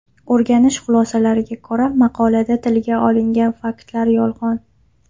O‘rganish xulosalariga ko‘ra, maqolada tilga olingan faktlar yolg‘on.